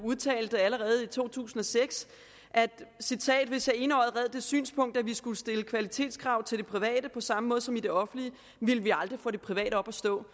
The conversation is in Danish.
allerede i 2006 hvis jeg enøjet red det synspunkt at vi skulle stille kvalitetskrav til det private på samme måde som i det offentlige ville vi aldrig få det private op at stå